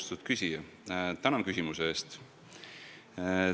Austatud küsija, tänan küsimuse eest!